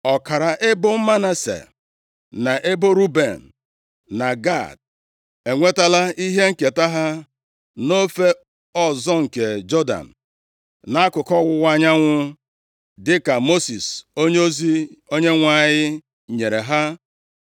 Ọkara ebo Manase, na ebo Ruben, na Gad, enwetala ihe nketa ha nʼofe ọzọ nke Jọdan, nʼakụkụ ọwụwa anyanwụ, dịka Mosis onyeozi Onyenwe anyị nyere ha.